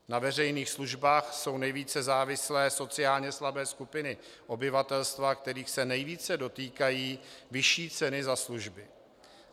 Na veřejných službách jsou nejvíce závislé sociálně slabé skupiny obyvatelstva, kterých se nejvíce dotýkají vyšší ceny za služby.